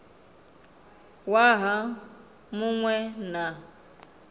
waha mu ṅ we na